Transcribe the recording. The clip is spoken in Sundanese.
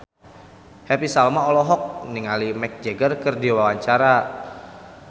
Happy Salma olohok ningali Mick Jagger keur diwawancara